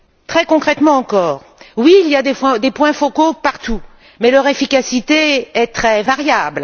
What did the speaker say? Très concrètement encore, oui, il y a des points focaux partout, mais leur efficacité est très variable.